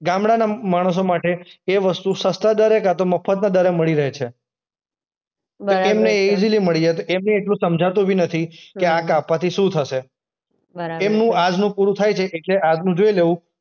ગામડાંનો મ માણસો માટે એ વસ્તુ સસ્તા દરે કાંતો મફતના દરે મળી રહે છે. બરાબર છે. તો તેમને એ ઈઝીલી મળી જાય. તો એમને એટલું સમજાતું બી નથી કે આ કાપવાથી શું થશે? બરાબર છે. એમનું આજનું પૂરું થાય છે એટલે આજનું જોઈ લેવું.